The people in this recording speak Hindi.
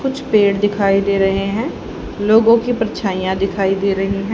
कुछ पेड़ दिखाई दे रहे है लोगो की परछाइयां दिखाई दे रही है।